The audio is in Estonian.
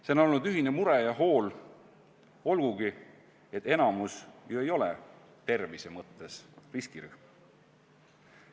See on olnud ühine mure ja hool, olgugi et enamik ju ei ole tervise mõttes riskirühm.